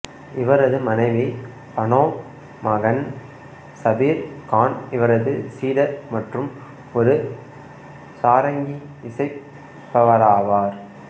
இவரது மனைவி பானோ மகன் சபீர் கான் இவரது சீடர் மற்றும் ஒரு சாரங்கி இசைப்பவராவார்